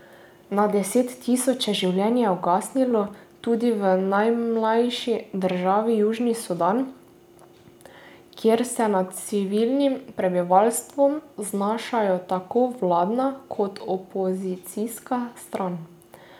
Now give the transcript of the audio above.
Na deset tisoče življenj je ugasnilo tudi v najmlajši državi Južni Sudan, kjer se nad civilnim prebivalstvom znašata tako vladna kot opozicijska stran.